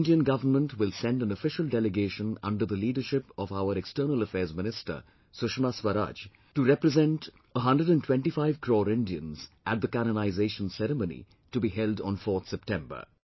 Indian government will send an official delegation under the leadership of our External Affairs Minister Sushma Swaraj to represent 125 crore Indians at the canonization ceremony to be held on 4th September